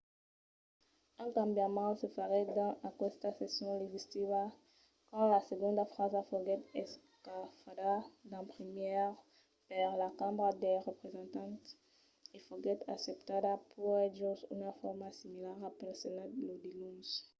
un cambiament se faguèt dins aquesta session legislativa quand la segonda frasa foguèt escafada d’en primièr per la cambra dels representants e foguèt acceptada puèi jos una forma similara pel senat lo diluns